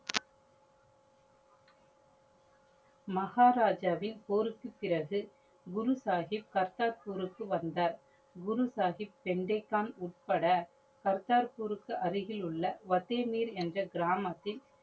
மகாராஜாவின் போருக்கு பிறகு குரு சாஹிப் கர்த்தார்பூர்க்கு வந்தார். குரு சாஹிப், உட்பட கர்த்தார்பூர்க்கு அருகிலுள்ள வசிர்நீர் என்ற கிராமத்தில்